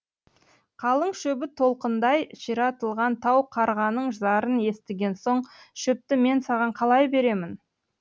қалың шөбі толқындай ширатылған тау қарғаның зарын естіген соң шөпті мен саған қалай беремін